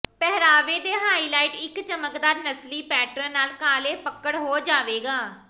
ਪਹਿਰਾਵੇ ਦੇ ਹਾਈਲਾਈਟ ਇੱਕ ਚਮਕਦਾਰ ਨਸਲੀ ਪੈਟਰਨ ਨਾਲ ਕਾਲੇ ਪਕੜ ਹੋ ਜਾਵੇਗਾ